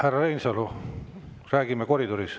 Härra Reinsalu, rääkige koridoris.